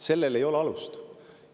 Sellel ei ole alust.